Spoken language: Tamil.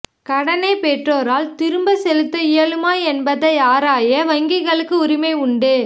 கடனை பெற்றோரால் திரும்ப செலுத்த இயலுமா என்பதை ஆராய வங்கிகளுக்கு உரிமை உண்டு